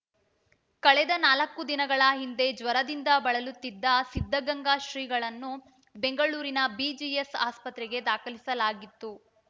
ಕಳೆದ ನಾಲ್ಕು ದಿನಗಳ ಹಿಂದೆ ಜ್ವರದಿಂದ ಬಳಲುತ್ತಿದ್ದ ಸಿದ್ಧಗಂಗಾ ಶ್ರೀಗಳನ್ನು ಬೆಂಗಳೂರಿನ ಬಿಜಿಎಸ್‌ ಆಸ್ಪತ್ರೆಗೆ ದಾಖಲಿಸಲಾಗಿತ್ತು